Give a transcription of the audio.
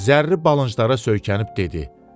Zərli balınclara söykənib dedi: